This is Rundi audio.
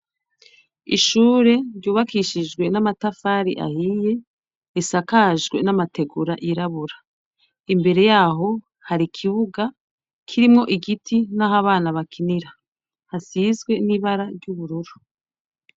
Ishure ryubakishijwe namatafari ahiye risakajwe namategura yirabura imbere yaho hari ikibuga kirimwo igiti nahabana bakinira hasinzwe nibara ryubururu